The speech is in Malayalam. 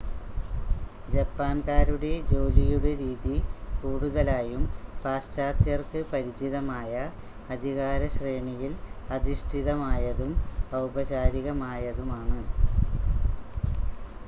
ജപ്പാൻകാരുടെ ജോലിയുടെ രീതി കൂടുതലായും പാശ്ചാത്യർക്ക് പരിചിതമായ, അധികാരശ്രേണിയിൽ അധിഷ്ഠിതമായതും ഔപചാരികമായതുമാണ്